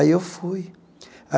Aí, eu fui.